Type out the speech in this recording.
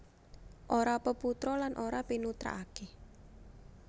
Ora peputra lan ora pinutrakaké